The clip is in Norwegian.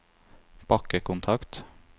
bakkekontakt